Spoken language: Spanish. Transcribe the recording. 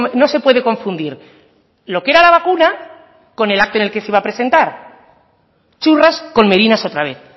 no se puede confundir lo que era la vacuna con el acto en el que se iba a presentar churras con merinas otra vez